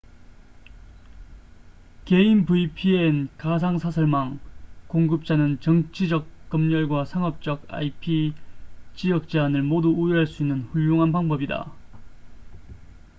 개인 vpn가상 사설망 공급자는 정치적 검열과 상업적 ip-지역 제한을 모두 우회할 수 있는 훌륭한 방법이다